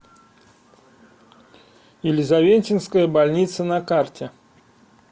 елизаветинская больница на карте